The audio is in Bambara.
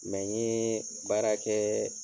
Ŋa yee baara kɛɛ